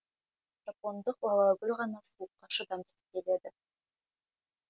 жапондық лалагүл ғана суыққа шыдамсыз келеді